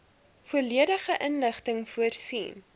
volledige inligting voorsien